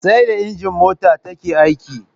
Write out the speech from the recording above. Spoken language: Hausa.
Sai da inji mota take aiki